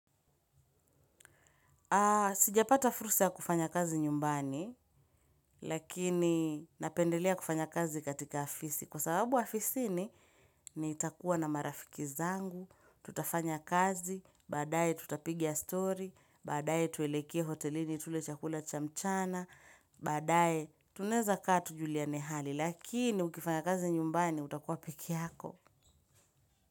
Sijapata fursa ya kufanya kazi nyumbani lakini napendelea kufanya kazi katika afisi kwa sababu afisi ni nitakuwa na marafiki zangu, tutafanya kazi, baadaye tutapiga story, baadaye tuwelekee hotelini tule chakula cha mchana, baadaye tunaeza kaa tu juliane hali lakini ukifanya kazi nyumbani utakuwa pekee yako.